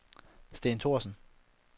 Steen Thorsen